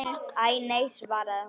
Æ, nei svaraði hún.